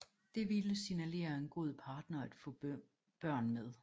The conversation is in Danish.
Det ville signalere en god partner at få børn med